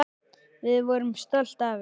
Við vorum stolt af henni.